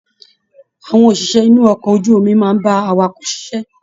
Àwọn òṣìṣẹ́ inú okọ̀ ojú omi máa n bá àwàkọ̀ ṣiṣẹ.